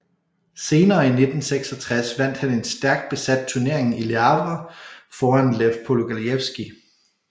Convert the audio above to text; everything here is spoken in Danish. Senere i 1966 vandt han en stærkt besat turnering i Le Havre foran Lev Polugajevskij